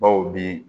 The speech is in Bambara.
Baw bi